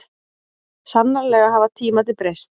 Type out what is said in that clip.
Sannarlega hafa tímarnir breyst.